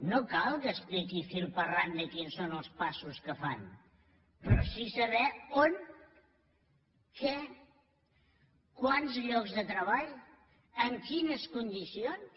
no cal que expliqui fil per randa quins són els passos que fan però sí saber on què quants llocs de treball en quines condicions